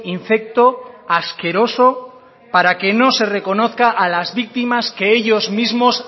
infecto asqueroso para que no se reconozca a las víctimas que ellos mismos